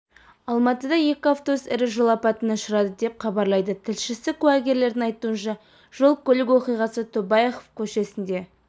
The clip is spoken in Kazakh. алматыда екі автобус ірі жол апатына ұшырады деп хабарлайды тілшісі куәгерлердің айтуынша жол-көлік оқиғасы тобаяқов көшесінде